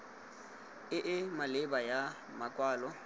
e e maleba ya makwalo